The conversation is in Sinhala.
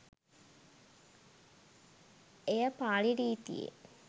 එය පාලි රීතියේ